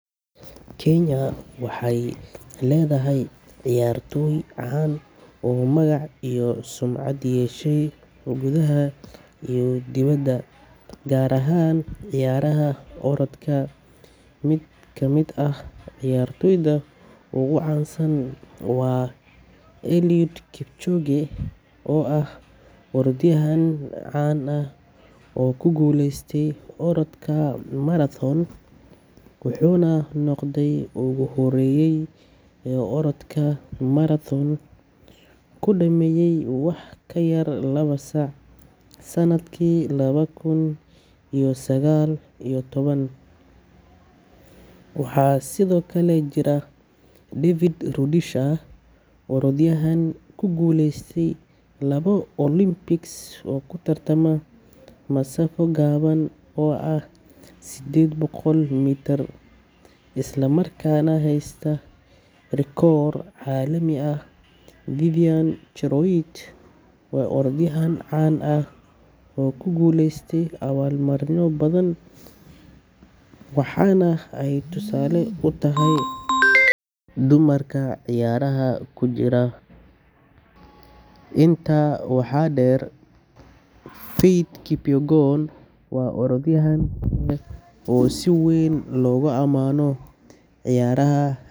Kenya waxay leedahay ciyaartoy caan ah oo magac iyo sumcad u yeeshay gudaha iyo dibadda, gaar ahaan ciyaaraha orodka. Mid ka mid ah ciyaartoyda ugu caansan waa Eliud Kipchoge, oo ah orodyahan caan ah oo ku guuleystay orodka marathon, wuxuuna noqday qofkii ugu horreeyay ee orodka marathon ku dhammeeya wax ka yar laba saac sanadkii laba kun iyo sagaal iyo toban. Waxaa sidoo kale jira David Rudisha, orodyahan ku guuleystay laba Olympic oo ku tartama masaafo gaaban oo ah sideed boqol mitir, isla markaana haysta rikoor caalami ah. Vivian Cheruiyot waa orodyahanad caan ah oo ku guuleysatay abaalmarino badan, waxaana ay tusaale u tahay dumarka ciyaaraha ku jira. Intaa waxaa dheer, Faith Kipyegon waa orodyahanad kale oo si weyn loogu amaano ciyaaraha.